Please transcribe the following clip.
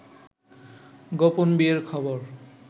গোপন বিয়ের খবর